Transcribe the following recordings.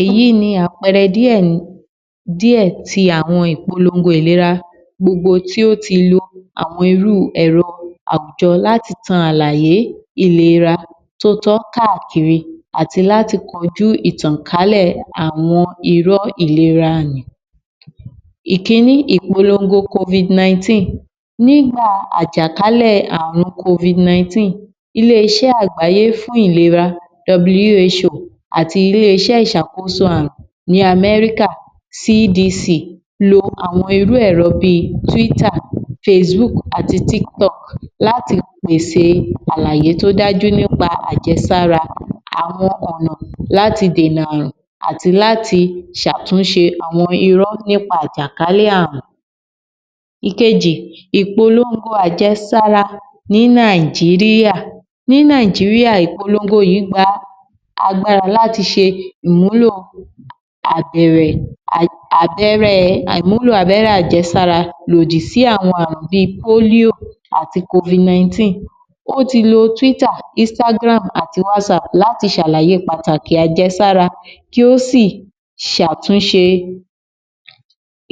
Èyí ni àpẹẹrẹ díẹ̀ tí àwọn ìpolongo ìlera gbogbo ti ó ti lo àwọn irú ẹ̀rọ láti tan àlàyé ìlera tó tọ́ káàkiri àti láti kojú ìtànkálẹ̀ àwọn irọ́ ìlera nì. Ìkinní, ìpolongo (Covid-19), nígbà àjàkálẹ̀ àrùn (Covid-19) ilé-iṣẹ́ àgbáyé fún ìlera (W.H.O) àti ilé iṣẹ́ ìṣàkóso àrùn ní (America) (C.D.C) lo àwọn irú ẹrọ bí (Twitter, Facebook àti TikTok) láti pèse àlàyé tó dájú nípa àjẹsára, àwọn ọ̀nà láti dènà àrùn àti láti ṣàtúnṣe àwọn irọ́ nípa àjàkálẹ̀ àrùn. Ìkejì, ìpolongo àjesára ní Nàìjíríà, ní Nàìjíríà, ìpolongo yí gba agbára láti ṣe ìmúlò abẹ́rẹ́ àjẹsára lòdì sí àrùn bí (Polio àti Covid-19), wọ́n ti lo (Twitter, Instagram àti Whatsapp) láti ṣàlàyé pàtàkì àjesára kí ó sì ṣàtúnṣe,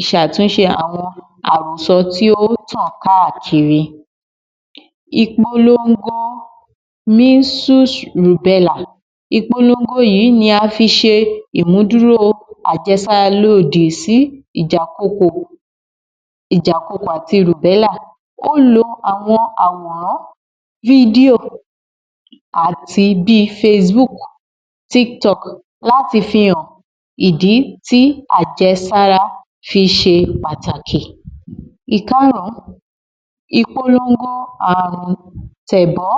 ṣàtúnṣe àwọn àròsọ tí ó tàn káàkiri. Ìpolongo, ìpolongo yí ni a fi ṣe ìmúdúró àjesára lòdì sí ìjàkokò, ìjàkokò àti, ó lo àwọn, àwòrán, àti bí (Facebook, TikTok) láti fihàn ìdí tí àjẹsára fiṣe pàtàkì. Ìkárùn-ún, ìpolongo àrùn-tẹ̀bọ́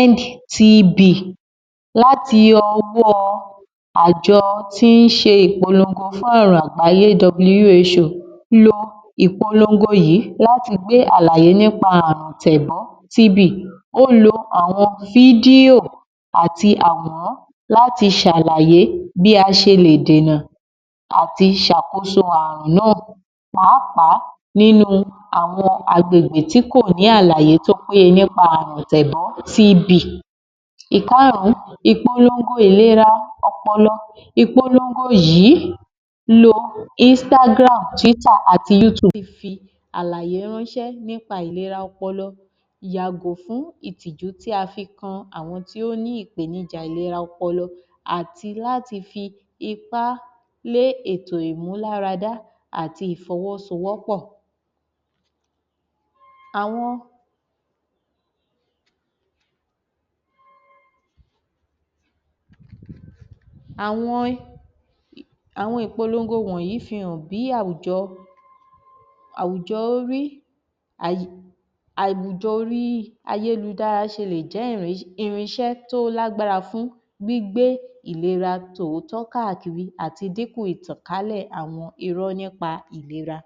(END T.B) láti ọwọ́ àjọ tí ń ṣe ìpolongo fún àwọn àgbáyé (W.H.O), lo ìpolongo yí láti gbé àlàyé nípa àrùn-tẹ̀bọ́ (T.B), ó lo àwọn fídíò àti àwòrán láti ṣàlàyé bí a ṣe lè dènà àti ṣàkóso àrùn náà pàápàá nínú àwọn àgbègbè tí kò ní àlàyé tó péye nípa àrùn-tẹ̀bọ́ (T.B). Ìkárùn-ún, ìpolongo ìlera ọpọlọ, ìpolongo yí lo (Instagram, Twitter àti Youtube) láti fi àlàyé ránṣẹ́ nípa ìlera ọpọlọ, yàgò fún ìtìjú tí a fi kan àwon tí ó ní ìpènijà ìlera ọpọlọ àti láti fi ipá lé ètò ìmúláradá àti ìfọwọ́sowọ́pọ̀. Àwọn, àwọn ìpolongo wọ̀nyí fi hàn bí àwùjọ, àwùjọ orí ayélujára ṣe lè jẹ́ irin ṣẹ́ tó lágbára fún gbígbé ìlera tòótọ́ káàkiri àti dípò ìtànkálẹ̀ àwọn irọ́ nípa ìlera.